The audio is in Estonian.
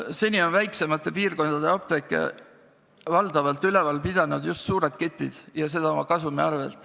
Seni on väiksemate piirkondade apteeke valdavalt üleval pidanud just suured ketid ja seda oma kasumi arvel.